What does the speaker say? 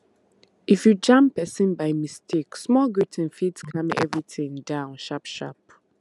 if you jam person by mistake small greeting fit calm everything down sharp sharp